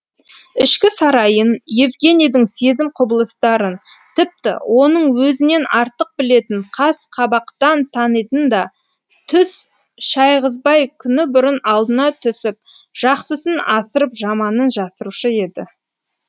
ішкі сарайын евгенийдің сезім құбылыстарын тіпті оның өзінен артық білетін қас қабақтан танитын да түс шайғызбай күні бұрын алдына түсіп жақсысын асырып жаманын жасырушы еді